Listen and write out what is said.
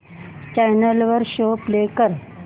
channel वर show play कर